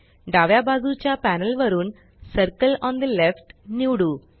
डाव्या बाजूच्या पॅनल वरुन सर्कल ओन ठे लेफ्ट निवडू